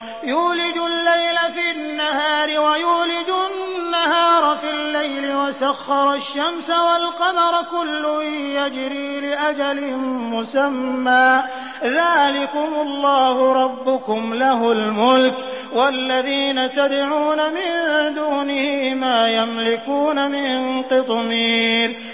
يُولِجُ اللَّيْلَ فِي النَّهَارِ وَيُولِجُ النَّهَارَ فِي اللَّيْلِ وَسَخَّرَ الشَّمْسَ وَالْقَمَرَ كُلٌّ يَجْرِي لِأَجَلٍ مُّسَمًّى ۚ ذَٰلِكُمُ اللَّهُ رَبُّكُمْ لَهُ الْمُلْكُ ۚ وَالَّذِينَ تَدْعُونَ مِن دُونِهِ مَا يَمْلِكُونَ مِن قِطْمِيرٍ